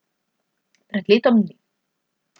Pred letom dni.